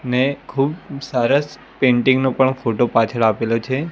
ને ખુબ સરસ પેન્ટિંગ નો પણ ફોટો પાછળ આપેલો છે.